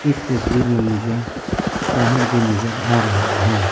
इस तस्वीर में मुझे पहाड़ भी नजर आ रहा है।